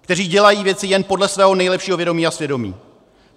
kteří dělají věci jen podle svého nejlepšího vědomí a svědomí.